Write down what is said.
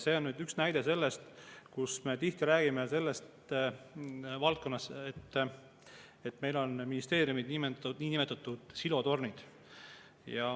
See on üks näide selle kohta, millest me tihti räägime, et meil on ministeeriumid nagu niinimetatud silotornid.